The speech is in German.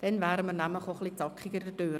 Dann wären wir auch etwa zackiger durch.